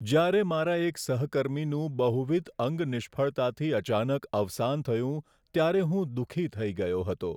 જ્યારે મારા એક સહકર્મીનું બહુવિધ અંગ નિષ્ફળતાથી અચાનક અવસાન થયું, ત્યારે હું દુઃખી થઈ ગયો હતો.